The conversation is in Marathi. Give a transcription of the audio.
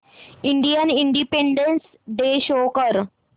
इंडियन इंडिपेंडेंस डे शो कर